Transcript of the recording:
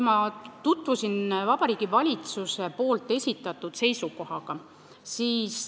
Ma tutvusin Vabariigi Valitsuse seisukohaga.